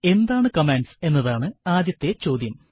എന്താണ് കമാൻഡ്സ് എന്നതാണ് ആദ്യത്തെ ചോദ്യം